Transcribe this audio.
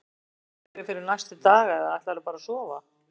Ertu með einhverjar ráðagerðir fyrir næstu daga eða ætlarðu bara að sofa?